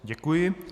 Děkuji.